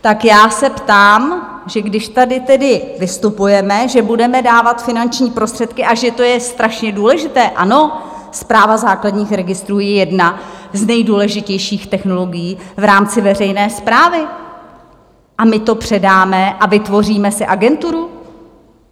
Tak já se ptám, že když tady tedy vystupujeme, že budeme dávat finanční prostředky a že to je strašně důležité - ano, Správa základních registrů je jedna z nejdůležitějších technologií v rámci veřejné správy, a my to předáme a vytvoříme si agenturu?